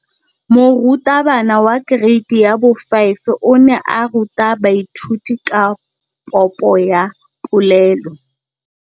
Moratabana wa kereiti ya 5 o ne a ruta baithuti ka popô ya polelô.